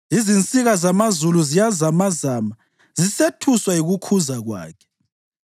Izinsika zamazulu ziyazamazama, zisethuswa yikukhuza kwakhe.